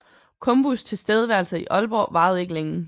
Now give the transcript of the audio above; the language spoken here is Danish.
Combus tilstedeværelse i Aalborg varede ikke længe